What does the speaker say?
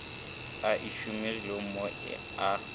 a e šomilego mo a